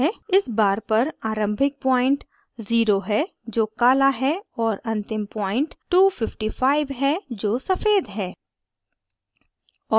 इस bar पर आरंभिक point zero है जो काला है और अंतिम point 255 है जो सफ़ेद है